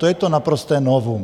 To je to naprosté novum.